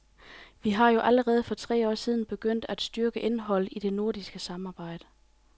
Vi er jo allerede for tre år siden begyndt at styrke indholdet i det nordiske samarbejde.